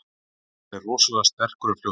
Hann er rosalega sterkur og fljótur.